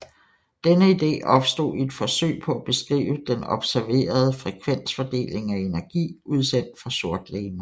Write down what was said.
Denne ide opstod i et forsøg på at beskrive den observerede frekvensfordeling af energi udsendt fra sortlegemer